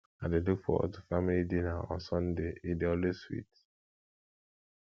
i dey look forward to family dinner on sunday e dey always sweet